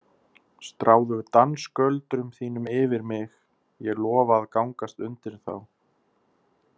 Stráðu dansgöldrum þínum yfir mig, ég lofa að gangast undir þá.